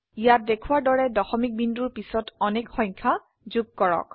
ইয়াত দেখোৱাৰ দৰে দশমিক বিন্দুৰ পিছত অনেক সংখ্যা যোগ কৰক